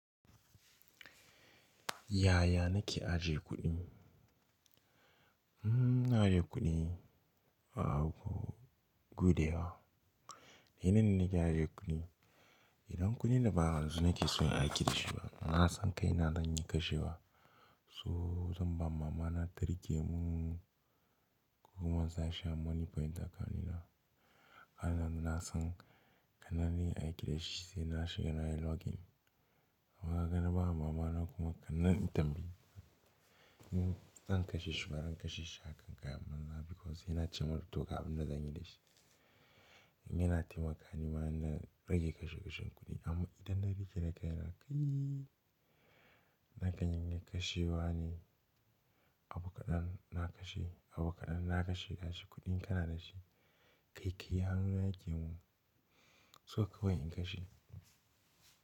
Yaya na ke ajiye kuɗi? Hmmm, na ajiye kuɗi a gudayawa. Yanayin da na ke ajiye kuɗi, idan kuɗin da ba yanzu na ke so in aiki da shi ba, na san kai na zan iya kashewa, so zan ba mama na ta riƙe mun ko kuma in sa shi a monie point account ɗina. Anan na san kanan ni in aiki da shi sai na shiga na yi login. Amma kaga na ba mama na kuma kananan in tambaye. In zan kashe shi, baran kashe shi hakan ga amman ba because sai na ce mata to ga abun da zan yi da shi. Yana taimaka ni ma ina rage kashe kashen kuɗi. Amma idan na riƙe na kai na kaiii, na kan iya kashewa ne, abu kaɗan na kashe, abu kaɗan na kashe. Gashi kuɗi in kana dashi, ƙaiƙayi hannu na yake mun. So kawai in kashe.